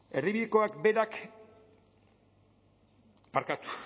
erdibidekoak berak barkatu